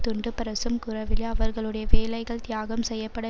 துண்டுப்பிரசும் கூறவில்லை அவர்களுடைய வேலைகள் தியாகம் செய்ய பட